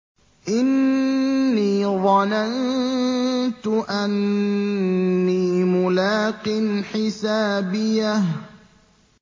إِنِّي ظَنَنتُ أَنِّي مُلَاقٍ حِسَابِيَهْ